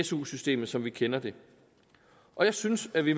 su systemet som vi kender det og jeg synes at vi